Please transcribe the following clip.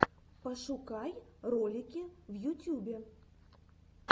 пошукай ролики в ютюбе